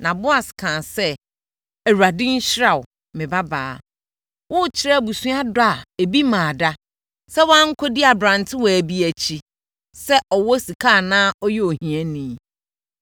Na Boas kaa sɛ, “ Awurade nhyira wo, me babaa! Worekyerɛ abusua dɔ a ebi mmaa da sɛ woankɔdi aberantewaa bi akyi, sɛ ɔwɔ sika anaa ɔyɛ ohiani.